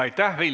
Aitäh!